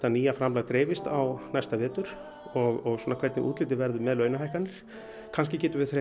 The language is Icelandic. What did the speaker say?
nýja framlag dreifist á næsta vetur og hvernig útlitið verður með launahækkanir kannski